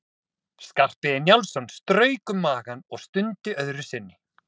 Skarphéðinn Njálsson strauk um magann og stundi öðru sinni.